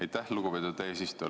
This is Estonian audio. Aitäh, lugupeetud eesistuja!